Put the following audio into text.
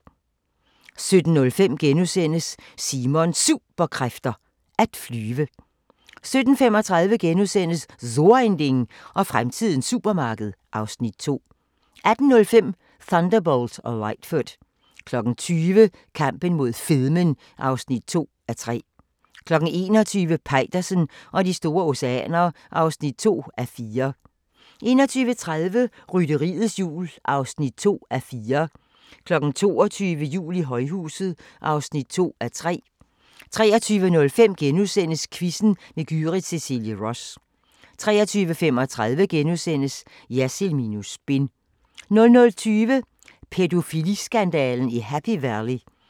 17:05: Simons Superkræfter: At flyve * 17:35: So ein Ding og fremtidens supermarked (Afs. 2)* 18:05: Thunderbolt og Lightfoot 20:00: Kampen mod fedmen (2:3) 21:00: Peitersen og de store oceaner (2:4) 21:30: Rytteriets Jul (2:4) 22:00: Jul i højhuset (2:3) 23:05: Quizzen med Gyrith Cecilie Ross * 23:35: Jersild minus spin * 00:20: Pædofiliskandalen i Happy Valley